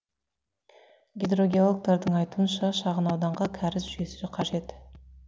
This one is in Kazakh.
гидрогеологтардың айтуынша шағын ауданға кәріз жүйесі қажет